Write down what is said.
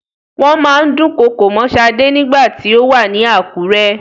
Wọ́n máa ń dúnkokò mọ́ Sade ní ìgbà tí ó wà ní Àkúré.